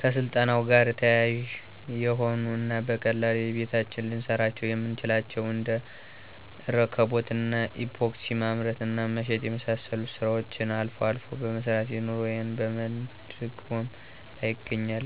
ከስልጠናው ጋር ተያያዥ የሆኑ እና በቀላሉ በየቤታችን ልንሰራቸው የምንችላቸውን እንደ እርክቦት እና ኢፓክሲ ማምረት እና መሸጥ የመሳሰሉትን ስራዎችን አልፎ አልፎ በመስራት ኑሮየን በመደጎም ላይ እገኛለሁ።